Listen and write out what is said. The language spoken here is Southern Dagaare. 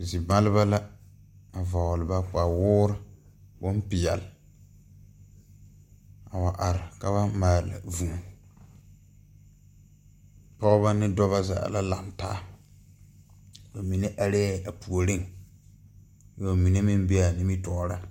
Zie maaleba la a vɔɔle ba kpawoore bonpeɛɛle a wa are ka ba maale vūū pɔɔbɔ ne dɔbɔ zaa la lang taa ba mine areɛɛ a puoriŋ ka ba mine meŋ beea nimitooreŋ.